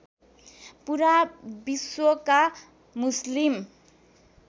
पूरा विश्वका मुस्लिम